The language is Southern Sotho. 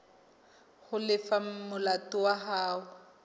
ho lefa molato wa hao